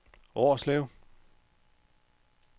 Årslev